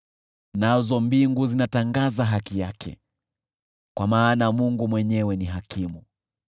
Nazo mbingu zinatangaza haki yake, kwa maana Mungu mwenyewe ni hakimu.